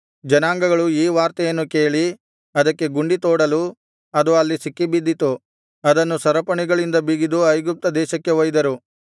ಜನಾಂಗಗಳು ಈ ವಾರ್ತೆಯನ್ನು ಕೇಳಿ ಅದಕ್ಕೆ ಗುಂಡಿ ತೋಡಲು ಅದು ಅಲ್ಲಿ ಸಿಕ್ಕಿಬಿದ್ದಿತು ಅದನ್ನು ಸರಪಣಿಗಳಿಂದ ಬಿಗಿದು ಐಗುಪ್ತ ದೇಶಕ್ಕೆ ಒಯ್ದರು